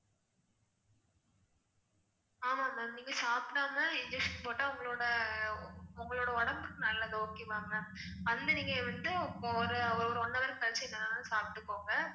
ஆமா ma'am நீங்க சாப்பிடாம injection போட்டா உங்களோட உங்களோட உடம்புக்கு நல்லது okay வா ma'am வந்து நீங்க வந்து ஒரு one hour கழிச்சு என்ன வேணா சாப்பிட்டுக்கோங்க